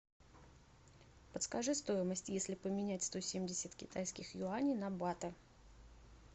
подскажи стоимость если поменять сто семьдесят китайских юаней на баты